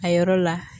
A yɔrɔ la